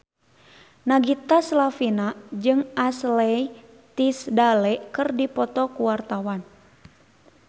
Nagita Slavina jeung Ashley Tisdale keur dipoto ku wartawan